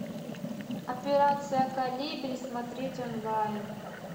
операция колибри смотреть онлайн